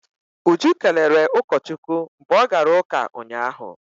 Uju kelere ụkọchukwu mgbe ọ gara ụka ụnyahụ.